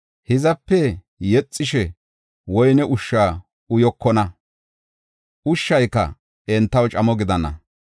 Hizape yexishe woyne ushsha uyokona; ushshayka entaw camo gidana.